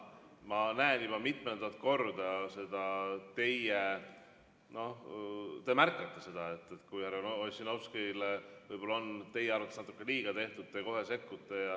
Ma näen juba mitmendat korda, et te märkate seda, kui härra Ossinovskile võib-olla on teie arvates natuke liiga tehtud, te kohe sekkute.